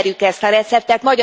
Ismerjük ezt a receptet!